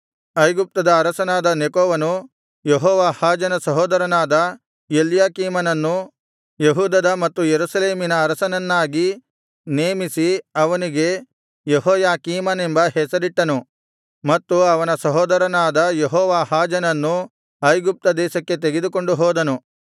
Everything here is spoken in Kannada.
ಐಗುಪ್ತದ ಅರಸನಾದ ನೆಕೋವನು ಯೆಹೋವಾಹಾಜನ ಸಹೋದರನಾದ ಎಲ್ಯಾಕೀಮನನ್ನು ಯೆಹೂದದ ಮತ್ತು ಯೆರೂಸಲೇಮಿನ ಅರಸನನ್ನಾಗಿ ನೇಮಿಸಿ ಅವನಿಗೆ ಯೆಹೋಯಾಕೀಮನೆಂಬ ಹೆಸರಿಟ್ಟನು ಮತ್ತು ಅವನ ಸಹೋದರನಾದ ಯೆಹೋವಾಹಾಜನನ್ನು ಐಗುಪ್ತ ದೇಶಕ್ಕೆ ತೆಗೆದುಕೊಂಡು ಹೋದನು